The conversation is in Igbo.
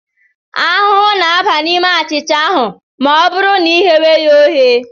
Ahụhụ ga-aba n'ime achịcha ahụ ma ọ bụrụ ma I ghewe ya oghe.